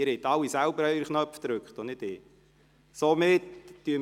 Sie haben alle selber Ihre Knöpfe gedrückt und nicht ich.